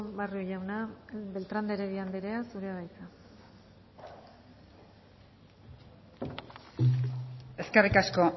barrio jauna beltrán de heredia anderea zurea da hitza eskerrik asko